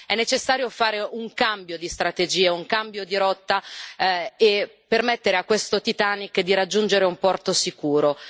È necessario fare un cambio di strategia, un cambio di rotta e permettere a questo Titanic di raggiungere un porto sicuro.